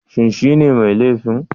Shin shine mai laifin?